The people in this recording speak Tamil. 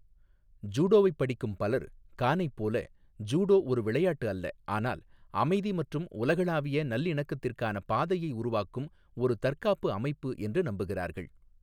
ஜூடோவைப் படிக்கும் பலர், கானைப் போல, ஜூடோ ஒரு விளையாட்டு அல்ல, ஆனால் அமைதி மற்றும் உலகளாவிய நல்லிணக்கத்திற்கான பாதையை உருவாக்கும் ஒரு தற்காப்பு அமைப்பு என்று நம்புகிறார்கள்.